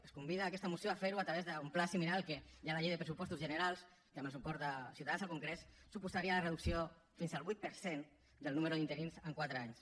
ens convida aquesta moció a fer ho a través d’un pla similar al que hi ha a la llei de pressupostos generals que amb el suport de ciutadans al congrés suposaria la reducció fins al vuit per cent del nombre d’interins en quatre anys